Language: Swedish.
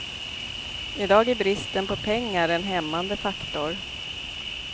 I dag är bristen på pengar en hämmande faktor.